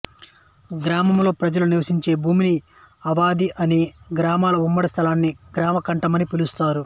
గ్రామంలో ప్రజలు నివసించే భూమిని ఆవాది అని గ్రామ ఉమ్మడి స్థలాన్ని గ్రామ కంఠంమని పిలుస్తారు